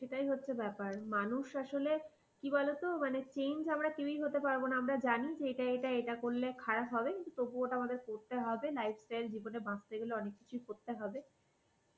সেটাই হচ্ছে ব্যাপার মানুষ আসলে কি বলতো, change আমরা কেউই হতে পারব না আমরা জানি এটা এটা করলে আমাদের খারাপ হবে কিন্তু তবু ওটা আমাদের করতে হবে lifestyle জীবনে বাঁচতে গেলে অনেক কিছুই করতে হবে